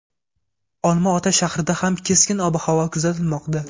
Olma-ota shahrida ham keskin ob-havo kuzatilmoqda.